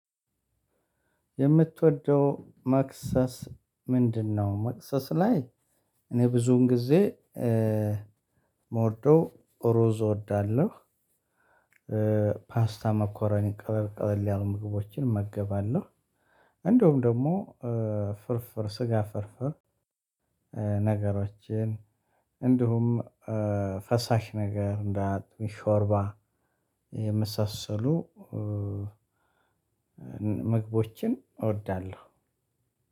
የምትወደው መክሰስ ምንድነው? መክሰስ ላይ እኔ ብዙን ጊዜ እምወደው ሩዝ እወዳለሁ። ፓስታ መኮረኒ ቀለል ቀለል ያሉ ምግቦችን እመገባለሁ። እንደውም ደግሞ ፍርፍር ስጋ ፍርፍር ነገሮችን እንዲሁም ፈሳሽ ነገር እንደ ሾርባ የመሳሰሉ። ምግቦችን እወዳለሁ።